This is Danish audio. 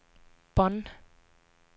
Bonn